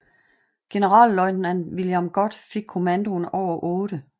Generalløjtnant William Gott fik kommandoen over 8